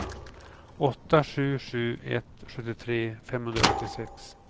åtta sju sju ett sjuttiotre femhundraåttiosex